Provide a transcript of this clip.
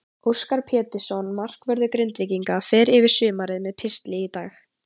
Óskar Pétursson, markvörður Grindvíkinga, fer yfir sumarið með pistli í dag.